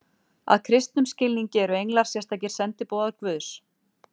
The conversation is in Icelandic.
að kristnum skilningi eru englar sérstakir sendiboðar guðs